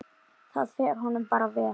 Það fer honum bara vel.